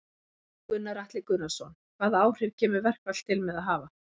Gunnar Atli Gunnarsson: Hvaða áhrif kemur verkfall til með að hafa?